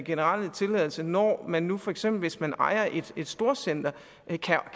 generelle tilladelse når man nu for eksempel hvis man ejer et storcenter